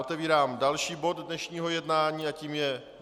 Otevírám další bod dnešního jednání a tím je